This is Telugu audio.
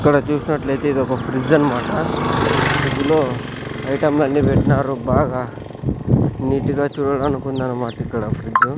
ఇక్కడ చూసినట్లయితే ఇది ఒక ఫ్రిడ్జ్ అన్నమాట ఫ్రిడ్జ్ లో ఐటమ్ లన్నిపెట్టినారు బాగా నీట్ గా చూడడానికి ఉందన్నమాట ఇక్కడ ఫ్రిడ్జ్ .